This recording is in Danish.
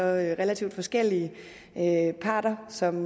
relativt forskellige parter som